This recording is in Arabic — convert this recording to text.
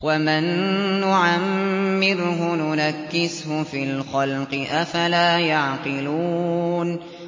وَمَن نُّعَمِّرْهُ نُنَكِّسْهُ فِي الْخَلْقِ ۖ أَفَلَا يَعْقِلُونَ